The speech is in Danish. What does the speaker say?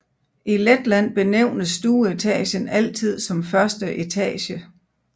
I Letland benævnes stueetagen altid som første etage